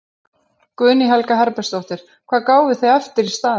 Guðný Helga Herbertsdóttir: Hvað gáfuð þið eftir í staðinn?